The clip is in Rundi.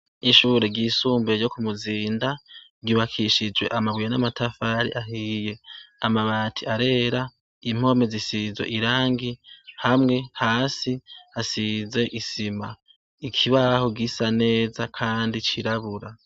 Ishure ryisumbuye ryo ku Muzinda ryubakishijwe amabuye n'amatafari ahiye. Amabati arera impome zisizwe irangi hamwe hasi hasize isima ikibaho gisa neza kandi cirabura.